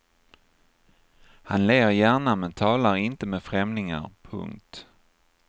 Han ler gärna men talar inte med främlingar. punkt